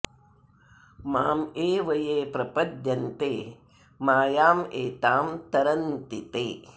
माम् एव ये प्रपद्यन्ते मायाम् एताम् तरन्ति ते